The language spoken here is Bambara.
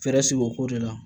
Fɛɛrɛ sigi o ko de la